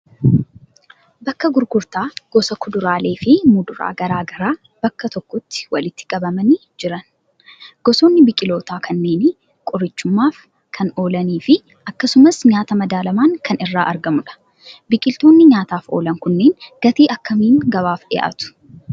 Bakka gurgurtaa gosa kuduraalee fi muduraa garaa garaa bakka tokkotti walitti qabamanii jiran. Gosoonni biqiltoota kanneenii qorichummaaf kan oolanii fi akkasumas nyaata madaalamaan kan irraa argamudha. Biqiltoonni nyaataaf oolan kunneen gatii akkamiin gabaaf dhiyaatu?